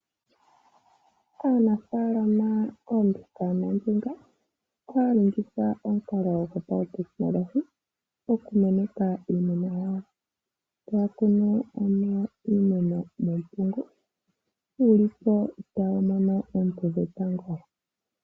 Aanafalama koombinga noombinga ohaya longitha omukalo gwopautekinolohi okumeneka iimeno yawo. Taya kunu iimeno metungo, yili po tayi mono oonte dhetango.